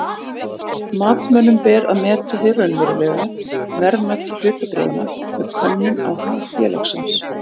Matsmönnum ber að meta hið raunverulega verðmæti hlutabréfanna með könnun á hag félagsins.